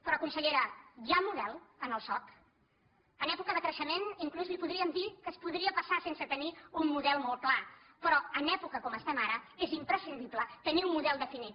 però consellera hi ha model en el soc en època de crei·xement inclús li podríem dir que es podria passar sense tenir un model molt clar però en l’època en què estem ara és imprescindible tenir un model definit